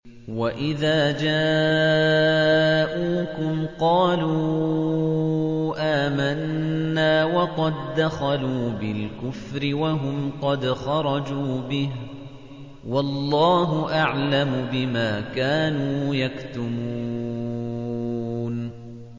وَإِذَا جَاءُوكُمْ قَالُوا آمَنَّا وَقَد دَّخَلُوا بِالْكُفْرِ وَهُمْ قَدْ خَرَجُوا بِهِ ۚ وَاللَّهُ أَعْلَمُ بِمَا كَانُوا يَكْتُمُونَ